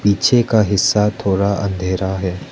पीछे का हिस्सा थोड़ा अंधेरा है।